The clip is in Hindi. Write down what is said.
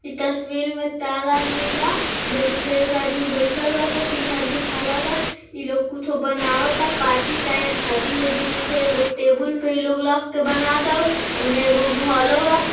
इस तस्वीर में चार आदमी बा जे में से एक आदमी बइठल बा त तीन आदमी खड़ा बा | ई लोग कुछो बनवता पार्टी चाहे शादी उदी में के एगो टेबल पे इ लोग रख के बनवा तारु ओने एगो घरो बा |